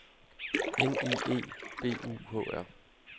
N I E B U H R